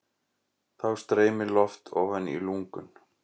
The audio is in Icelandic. Þá streymir loft ofan í lungun.